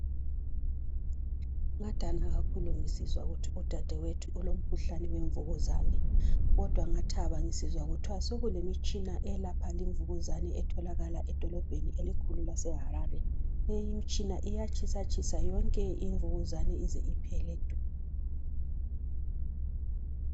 ngadana kakhulu ngisizwa ukuti udadewethu ulomkhuhlane wemvukuzane kodwa ngathaba ngisizwa kuthwa sekulemitshina eyelapha le imvukuzane etholakala edolobheni elikhulu lase harare le imitshina iyatshisatshisa yonke imvukuzane ize iphele du